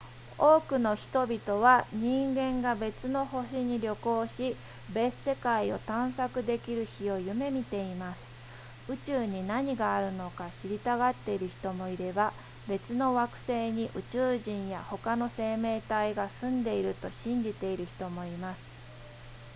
多くの人々は人間が別の星に旅行し別世界を探索できる日を夢見ています宇宙に何があるのか知りたがっている人もいれば別の惑星に宇宙人や他の生命体が住んでいると信じている人もいます